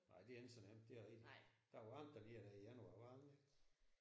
Nej det er ikke så nemt det rigtigt. Der var varmt alligevel der i januar var der ikke det?